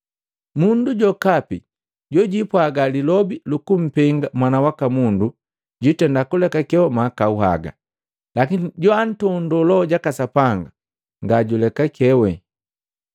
“Mundu jokapi jojwiipwaga lilobi luku mpenga Mwana waka Mundu, jwitenda kulekakewa mahakahu haga, lakini joantondo Loho jaka Sapanga ngajulekakewi.